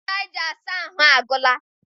Ncha anyị ji asa ahụ agwụla.